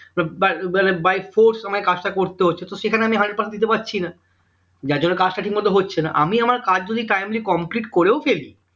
মানে by force আমায় কাজটা করতে হচ্ছে তো সেখানে আমি hundred percent দিতে পারছি না যার জন্য কাজটা ঠিক মতো হচ্ছে না আমি আমার কাজ যদি timely complete করেও ফেলি